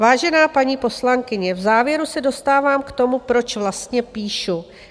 Vážená paní poslankyně, v závěru se dostávám k tomu, proč vlastně píšu.